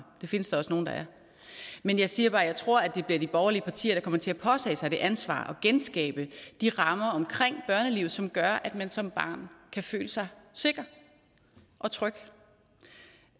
det findes der også nogle der er men jeg siger bare at jeg tror at det bliver de borgerlige partier der kommer til at påtage sig det ansvar at genskabe de rammer omkring børnelivet som gør at man som barn kan føle sig sikker og tryg